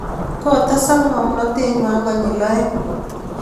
Kotedak ng'omnatet ng'wai konyil aeng'